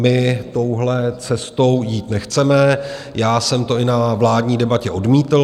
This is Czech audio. My touhle cestou jít nechceme, já jsem to i na vládní debatě odmítl.